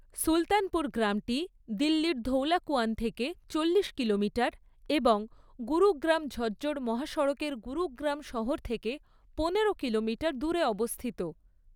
সুলতানপুর গ্রামটি দিল্লির ধৌলাকুয়ান থেকে চল্লিশ কিলোমিটার এবং গুরুগ্রাম ঝজ্জর মহাসড়কের গুরুগ্রাম শহর থেকে পনেরো কিলোমিটার দূরে অবস্থিত।